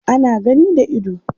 ana gani da ido